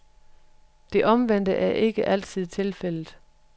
Det omvendte er ikke altid tilfældet.